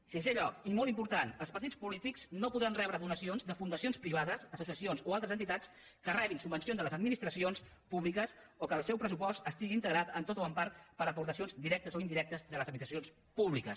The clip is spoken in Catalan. en sisè lloc i molt important els partits polítics no podran rebre donacions de fundacions privades associacions o altres entitats que rebin subvencions de les administracions públiques o que el seu pressupost estigui integrat tot o en part per aportacions directes o indirectes de les administracions públiques